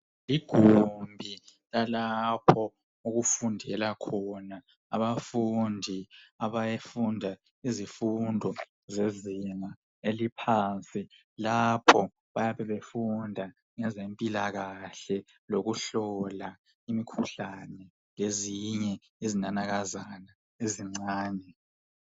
Igumbi lalapho okufundela khona abafundi abafunda izifundo zezinga eziphansi lapho bayabe befunda ezempilakahle lokuhlola imikhuhlane lezinye izinanakazana ezincane.